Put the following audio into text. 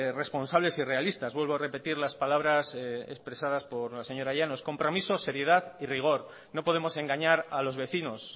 responsables y realistas vuelvo a repetir las palabras expresadas por la señora llanos compromisos seriedad y rigor no podemos engañar a los vecinos